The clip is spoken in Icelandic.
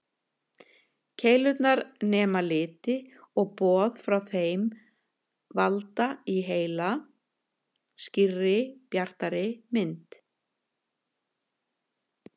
Keilurnar nema liti og boð frá þeim valda í heila skýrri, bjartri mynd.